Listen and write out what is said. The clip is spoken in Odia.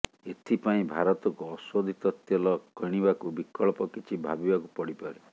ଏଥିପାଇଁ ଭାରତକୁ ଅଶୋଧିତ ତେଲ କଣିବାକୁ ବିକଳ୍ପ କିଛି ଭାବିବାକୁ ପଡିପାରେ